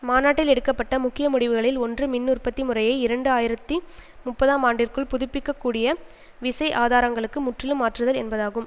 மாநாட்டில் எடுக்க பட்ட முக்கிய முடிவுகளில் ஒன்று மின் உற்பத்தி முறையை இரண்டு ஆயிரத்தி முப்பதாம் ஆண்டிற்குள் புதுப்பிக்கப்படக்கூடிய விசை ஆதாரங்களுக்கு முற்றிலும் மாற்றுதல் என்பதாகும்